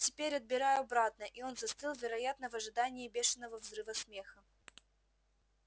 теперь отбираю обратно и он застыл вероятно в ожидании бешеного взрыва смеха